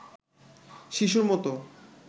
শিশুর মতো